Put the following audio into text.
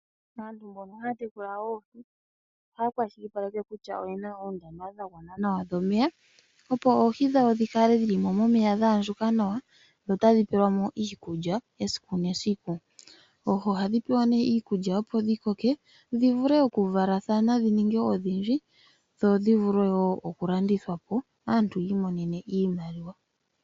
Aantu mbono haya tekula oohi ohaya kwashilipaleke kutya oyena oondama dhagwana nawa dhomeya opo oohi dhawo dhikale dhili momeya dha andjuka nawa dho otadhi pelwamo iikulya esiku nesiku. Oohi ohadhi pewa nee iikulya opo dhikoke dhivule oku valathana dhininge odhindji, dho dhivule woo oku landithwapo aantu yi imonene iimaliwa.